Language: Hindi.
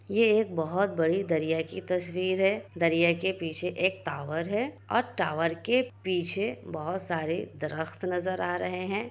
ये एक बहुत बड़ी दरिया की तस्वीर है। दरिया के पीछे एक टावर है और टावर के पीछे बहोत सारे दरख़्त नजर आ रहे हैं।